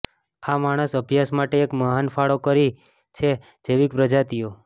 આ માણસ અભ્યાસ માટે એક મહાન ફાળો કરી છે જૈવિક પ્રજાતિઓ